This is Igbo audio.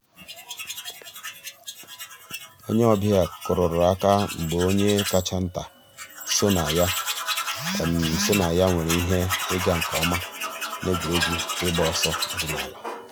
ònyè ọ̀ bịa kùrùrù àkà mgbè ònyè káchà ńtà sọnà yà sọnà yà nwèrè íhè ị̀gà nkè ǒmà n'ègwè́régwụ̀ ị̀gba òsọ̀ òdìnàlà.